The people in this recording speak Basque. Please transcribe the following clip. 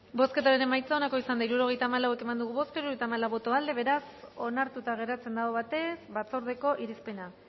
bozketaren emaitza onako izan da hirurogeita hamalau eman dugu bozka hirurogeita hamalau boto aldekoa beraz onartuta geratzen da aho batez batzordeko irizpena